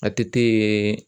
A T T yeee